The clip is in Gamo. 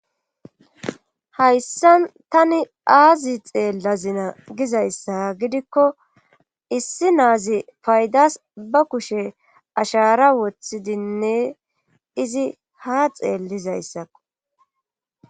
Hayssan tani aazi xeellazina gizayssa gidikko issi naazi paydas ba kushe ashara wothidinne izi ha xeellizayssakko.